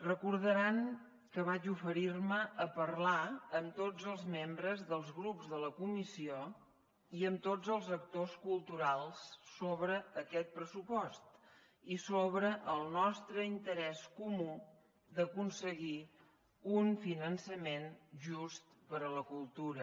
recordaran que vaig oferir me a parlar amb tots els membres dels grups de la comissió i amb tots els actors culturals sobre aquest pressupost i sobre el nostre interès comú d’aconseguir un finançament just per a la cultura